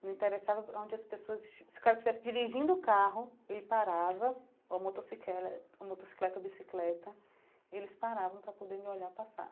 Não interessava onde as pessoas... Se o cara estivesse dirigindo o carro, ele parava, ou motocicle ou motocicleta ou bicicleta, eles paravam para poder me olhar passar.